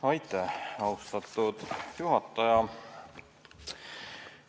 Aitäh, austatud juhataja!